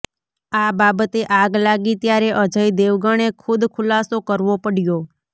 આ બાબતે આગ લાગી ત્યારે અજય દેવગણે ખુદ ખુલાસો કરવો પડ્યો